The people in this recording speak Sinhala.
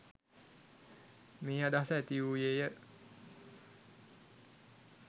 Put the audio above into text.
මේ අදහස ඇතිවූයේ ය.